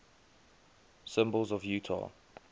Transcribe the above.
symbols of utah